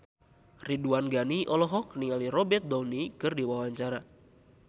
Ridwan Ghani olohok ningali Robert Downey keur diwawancara